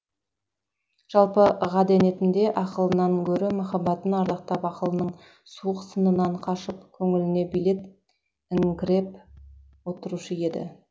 жалпы ғадетінде ақылынан гөрі махаббатын ардақтап ақылдың суық сынынан қашып көңіліне билет іңкіреп отырушы еді